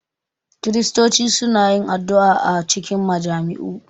Kiristoci suna yin addu’a a cikin majami’u